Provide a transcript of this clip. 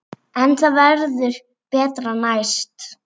En það verður betra næst.